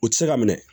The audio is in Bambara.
U tɛ se ka minɛ